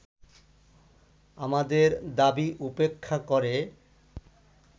আমাদের দাবী উপেক্ষা করে